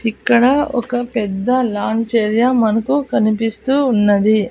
ఇక్కడ ఒక పెద్ద లాంచ్ ఏరియా మనకు కనిపిస్తూ ఉన్నది.